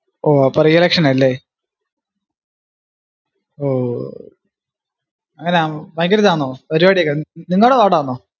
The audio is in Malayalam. ഓ അപ്പോ re election ആ അല്ലേ ഓ എങ്ങനാ ഭയങ്കര ഇതാന്നോ പരിപാടി ഏർ നിങ്ങള്ടെ ward ആന്നോ